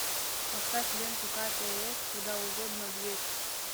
поставь ленту катя и эф куда угодно дверь